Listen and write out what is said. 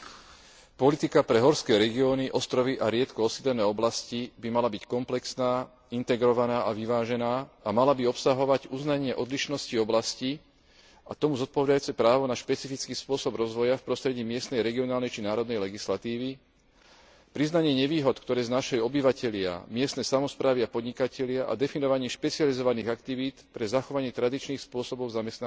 Politika pre horské regióny, ostrovy a riedko osídlené oblasti by mala byť komplexná, integrovaná a vyvážená a mala by obsahovať uznanie odlišnosti oblastí a k tomu zodpovedajúce právo na špecifický spôsob rozvoja v prostredí miestnej, regionálnej či národnej legislatívy priznanie nevýhod, ktoré znášajú obyvatelia, miestne samosprávy a podnikatelia a definovanie špecializovaných aktivít pre zachovanie tradičných spôsobov zamestnanosti,